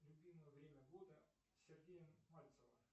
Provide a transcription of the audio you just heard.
любимое время года сергея мальцева